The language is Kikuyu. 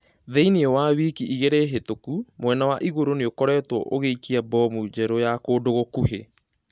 Thĩini wa wiki igĩrĩ hĩtũku mwena wa igũrũ nĩũkoretuo ũgĩikia mbomu njerũ ya kũndũ gũkuhĩ